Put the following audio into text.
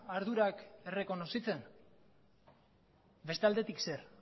ardurak errekonozitzen beste aldetik zer